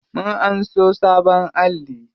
Mun anso sabon alli.